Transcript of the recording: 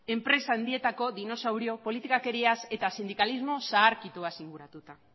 enpresa handietako dinosauru politikakeriaz eta sindikalismo zaharkituaz inguratuta